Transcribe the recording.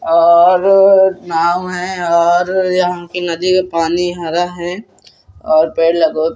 और नाव हैं और यहाँ की नदी का पानी हरा है और पेड़ लगो --